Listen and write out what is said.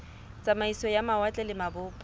tsamaiso ya mawatle le mabopo